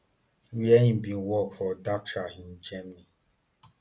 wia im bin work for dachau in germany